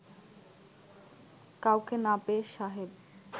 কাউকে না পেয়ে সাহেব